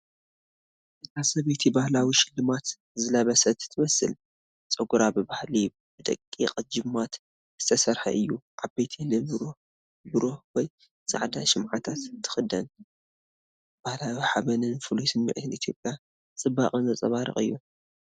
እታ ሰበይቲ ባህላዊ ሽልማት ዝለበሰት ትመስል። ጸጉራ ብባህሊ ብደቂቕ ጅማት ዝተሰርሐ እዩ። ዓበይቲ ንብሩህ ብሩር ወይ ጻዕዳ ሽምዓታት ትኽደን። ባህላዊ ሓበንን ፍሉይ ስምዒት ኢትዮጵዊ ጽባቐን ዘንጸባርቕ እዩ።